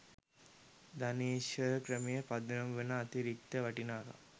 ධනේශ්වර ක්‍රමයේ පදනම වන අතිරික්ත වටිනාකම